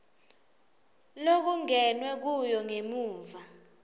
lokungenwe kuyo ngemuva